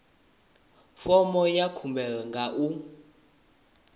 fomo ya khumbelo nga u